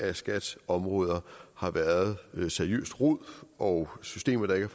af skats områder har været seriøst rod og systemer der ikke